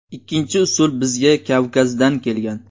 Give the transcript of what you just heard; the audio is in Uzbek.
Ikkinchi usul bizga Kavkazdan kelgan.